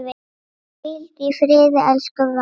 Hvíldu í friði, elsku Valla.